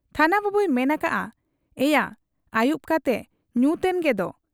ᱛᱷᱟᱱᱟ ᱵᱟᱹᱵᱩᱭ ᱢᱮᱱ ᱟᱠᱟᱜ ᱟ, 'ᱮᱭᱟ ! ᱟᱹᱭᱩᱵ ᱠᱟᱛᱮ ᱧᱩᱛᱮᱱ ᱜᱮᱫᱚ ?